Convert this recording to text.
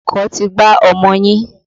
Ọkọ̀ ti gbá ọmọ yín.